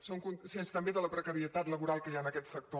som conscients també de la precarietat laboral que hi ha en aquest sector